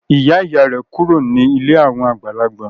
Ìyá-ìyá rẹ̀ yóò kúrò nílé àwọn àgbàlagbà.